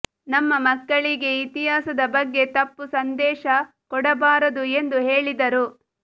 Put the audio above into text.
ನಮ್ಮ ಮಕ್ಕಳಿಗೆ ಇತಿಹಾಸದ ಬಗ್ಗೆ ತಪ್ಪು ಸಂದೇಶ ಕೊಡಬಾರದು ಎಂದು ಹೇಳಿದರು